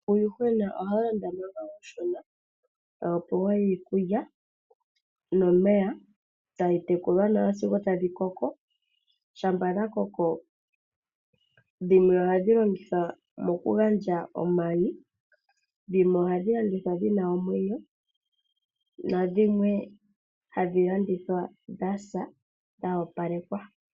Uuyuhwena oha wu landwa manga uushona. Ta wu pewa iikulya nomeya, ta wu tekulwa nawa sigo wa koko. Shampa dha koko dhimwe ohadhi longithwa mokugandja omayi, dhimwe ohadhi landithwa dhi na omwenyo nadhimwe hadhi landithwa dha sa dha opalekwa.